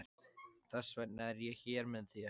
Þess vegna er ég hér með þér.